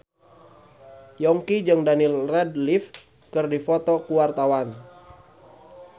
Yongki jeung Daniel Radcliffe keur dipoto ku wartawan